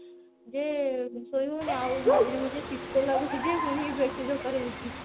ଯେ ଶୋଇ ହଉନି ଆଉ ମଝିରେ ମଝିରେ ଶିତ ଲାଗୁଛି ଯେ ପୁଣି bed sheet ଦରକାର ହଉଛି